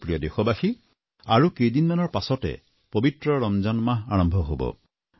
মোৰ প্ৰিয় দেশবাসী আৰু কেইদিনৰ মানৰ পিছতে পবিত্ৰ ৰমজান মাহ আৰম্ভ হব